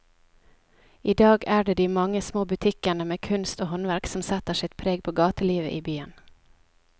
I dag er det de mange små butikkene med kunst og håndverk som setter sitt preg på gatelivet i byen.